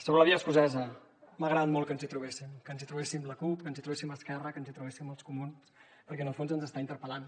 sobre la via escocesa m’ha agradat molt que ens hi trobéssim que ens hi trobéssim la cup que ens hi trobéssim esquerra que ens hi trobéssim els comuns perquè en el fons ens està interpel·lant